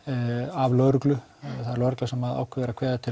af lögreglu það er lögreglan sem ákveður að kveða til